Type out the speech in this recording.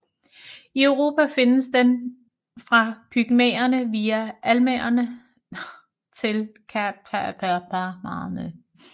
I Europa findes den fra Pyrenæerne via Alperne til Karpaterne